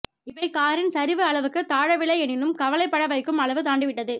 இவை காரின் சரிவு அளவுக்கு தாழவில்லை எனினும் கவலை பட வைக்கும் அளவு தாண்டி விட்டது